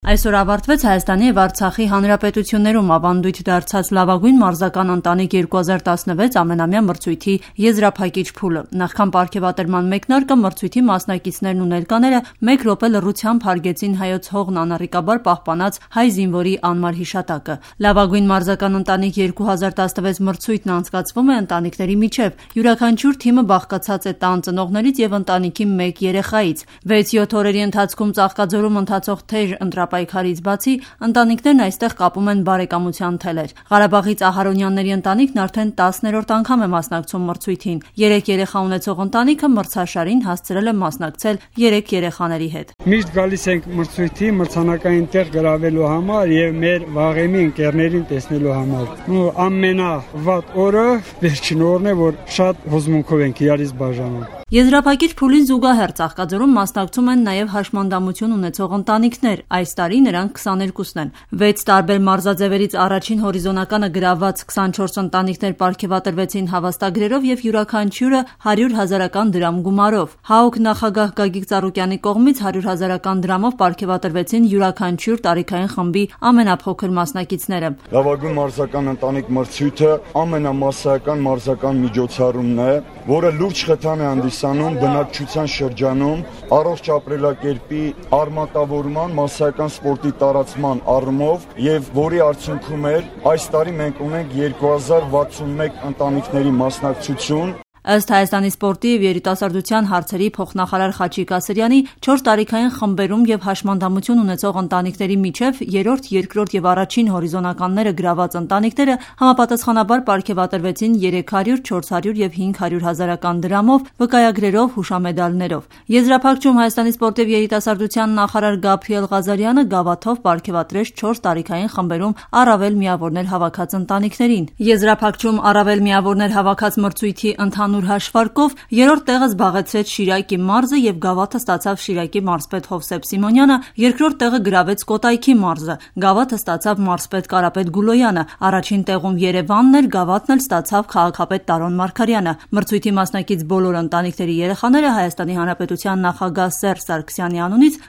Այսօր ավարտվեց Հայաստանի և Արցախի հանրապետություններում ավանդույթ դարձած « Լավագույն մարզական ընտանիք-2016» ամենամյա մրցույթի եզրափակիչ փուլը: Նախքան պարգևատրման մեկնարկը մրցույթի մասնմակիցներն ու ներկաները մեկ րոպե լռությամբ հարգեցին հայոց հողն անառիկաբար պահպանած հայ զինվորի անմար հիշատակը: « Լավագույն մարզական ընտանիք-2016» մրցույթն անցկացվում է ընտանիքների միջև: Յուրաքանչյուրի թիմը բաղկացած է տան ծնողներից և ընտանիքի մեկ երեխայից: 6-7 օրերի ընթացում Ծաղկաձորում ընթացող թեժ ընտրապայքարից բացի ընտանիքներն այստեղ կապում են բարեկամության թելեր: Ղարաբաղից Ահարոնյանների ընտանիքն արդեն 10-րդ անգամ է մասնակցում մրցույթին: Երեք երեխա ունեցող ընտանիքը մրցաշարին հասցրել է մասնակցել երեք երեխաների հետ: «Միշտ գալիս ենք մրցույթին մրցանակային տեղ գրավելու և մեր վաղեմի ընկերներին տեսնելու համար: Ամենավատ օրը վերջին օրն է, և հուզմունքով ենք իրարից բաժանվում»: Եզրափակիչ փուլին զուգահեռ Ծաղկաձորում մասնակցում են նաև անվասայլակներով հաշմանդամություն ունեցող ընտանիքներ: Այս տարի նրանք 22 են: 6 տարբեր մարզաձևերից առաջին հորիզոնականը գրավված 24 ընտանիքներ պարգևատրվեցին հավաստագրերով և յուրաքանչյուրը 100 000-ական դրամ գումարով: ՀԱՕԿ նախագահ Գագիկ Ծառուկյանի կողմից 100 000-ական դրամով պարգևատրվեցին յուրաքանչյուր տարիքային խմբի ամենափոքր մասնակիցները։ «Լավագույն մարզական ընտանիք մրցույթն ամենամասսայական մարզական միջոցառումն է, որը բնակչության շրջանում լուրջ խթան է հանդիսանում առողջ ապրելակերպի արմատավորման, մասսայական սպորտի տարածման առումով և որի արդյունքում ասյ տարի ունենք 2061 ընտանիքների մասնակցություն»: Ըստ ՀՀ սպորտի և երիտասարդության հարցերի փոխնախարար Խաչիկ Ասրյանի՝ չորս տարիքային խմբերում և հաշմանդամություն ունեցող ընտանիքների միջև երրորդ, երկրորդ և առաջին հորիզոնականները գրաված ընտանիքները համապատասխանաբար պարգևատրվեցին, 300 000, 400 000 և 500 000-ական դրամով, վկայագրերով, հուշամեդալներով, իսկ ընտանիքների երեխաներին տրվեցին նաև հուշամեդալներ: Եզրափակչում ՀՀ սպորտի և երիտասարդության նախարար Գաբրիել Ղազարյանը գավաթով պարգևատրեց չորս տարիքային խմբերում առավել միավորներ հավաքած ընտանիքներին՝ ՀՀ-ի, ԼՂՀ-ի և ՀՀ մարզերի պատվիրակություններին։ Եզրափակչում առավել միավորներ հավաքած մրցույթի ընդհանուր հաշվարկով երրորդ տեղը զբաղեցրեց Շիրակի մարզը և գավաթը ստացավ Շիրակի մարզպետ Հովսեփ Սիմոնյանը, երկրորդ տեղը գրավեց Կոտայքի մարզը: Գավաթը ստացավ մարզպետ Կարապետ Գուլոյանը, առաջին տեղում Երևանն էր, գավաթը ստացավ քաղաքապետ Տարոն Մարգարյանը։ Մրցույթի մասնակից բոլոր ընտանիքների երեխաները ՀՀ նախագահ Սերժ Սարգսյանի անունից